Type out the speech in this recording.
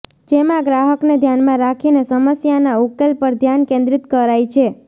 જેમાં ગ્રાહકને ધ્યાનમાં રાખીને સમસ્યાના ઉકેલ પર ધ્યાન કેન્દ્રિત કરાય છે